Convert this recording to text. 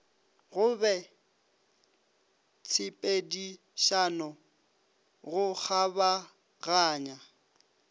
go be tshepedišano go kgabaganya